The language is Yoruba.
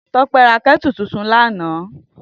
Tope rá kètú tútún làná